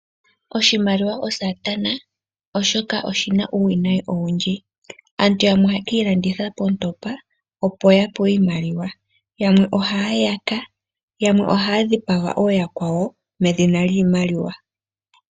Oshimaliwa osatana oshoka oshina uuwinayi owundji. Aantu yamwe ohaya ki ilanditha poontopa opo ya pewe iimaliwa, yamwe ohaya yaka, yamwe ohaya dhipaga ooyakwawo medhina lyiimaliwa.